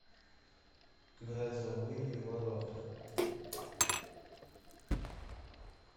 грозовые ворота